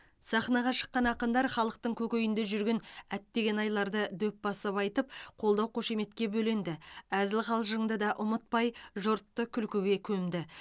сахнаға шыққан ақындар халықтың көкейінде жүрген әттеген айларды дөп басып айтып қолдау қошеметке бөленді әзіл қалжыңды да ұмытпай жұртты күлкіге көмді